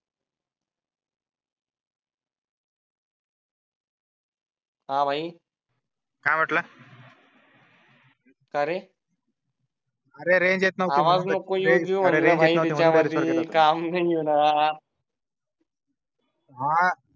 हा भाई. काय म्हटलं कारे अरे रेंज नव्हती येत काम नाही होणार